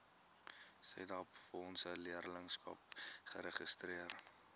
setabefondse leerlingskappe geregistreer